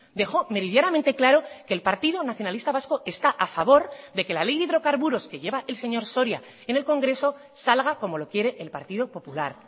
dejó meridianamente claro que el partido nacionalista vasco está a favor de que la ley de hidrocarburos que lleva el señor soria en el congreso salga como lo quiere el partido popular